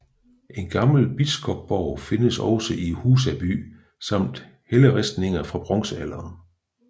En gammel biskopsborg findes også i Husaby samt helleristninger fra bronzealderen